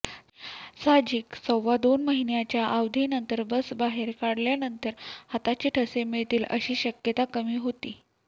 साहजिक सव्वा दोन महिन्याच्या अवधीनंतर बस बाहेर काढल्यानंतर हाताचे ठसे मिळतील अशी शक्यता कमी होती